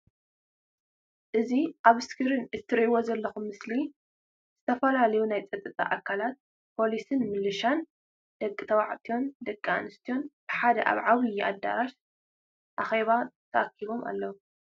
እዚ ኣብ እስክሪን እትሪእዎ ዘለኩም ምስሊ ዝተፈላለዩ ናይ ፀጥታ ኣካላት ፖላዊስን ምልሻን ደቂ ተባዕትዮን ደቂ ኣንስትዮን ብሓደ ኣብ ዓብዪ ኣዳራሽ ኣኪባ ተኣኪቦም ኣለዉ።